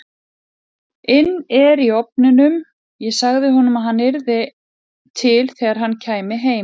inn er í ofninum, ég sagði honum að hann yrði til þegar hann kæmi heim.